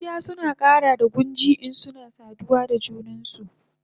Bushiya suna kara da gunji insuna saduwa da junansu